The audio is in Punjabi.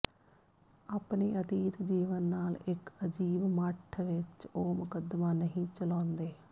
ਆਪਣੇ ਅਤੀਤ ਜੀਵਨ ਨਾਲ ਇੱਕ ਅਜੀਬ ਮੱਠ ਵਿੱਚ ਉਹ ਮੁਕੱਦਮਾ ਨਹੀਂ ਚਲਾਉਂਦੇ